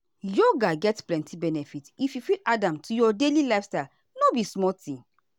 yoga get plenty benefit if you fit add am to your daily lifestyle no be small thing.